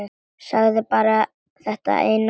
Sagði bara þetta eina orð.